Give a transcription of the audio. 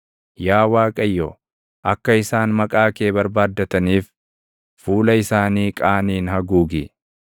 Yaa Waaqayyo, akka isaan maqaa kee barbaaddataniif, fuula isaanii qaaniin haguugi.